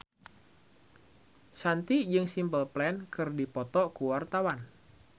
Shanti jeung Simple Plan keur dipoto ku wartawan